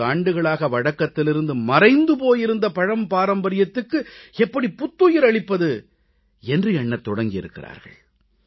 2030 ஆண்டுகளாக வழக்கத்திலிருந்து மறைந்து போயிருந்த பழம்பாரம்பரியத்துக்கு எப்படி புத்துயிர் அளிப்பது என்று எண்ணத் தொடங்கியிருக்கிறார்கள்